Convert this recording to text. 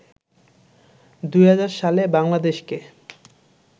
২০০০ সালে বাংলাদেশকে